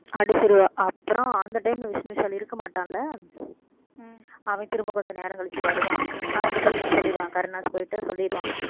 அடிச்சிருவா அப்புறம் அந்த time ல விஷ்ணு விஷால் இருக்க மாட்டான்ல அவன் திரும்ப கொஞ்ச நேரம் கழிச்சு வருவான் அவன்ட்ட போய் இவன் சொல்லிடுவான் கருணாஸ் போயிட்டு சொல்லிடுவான்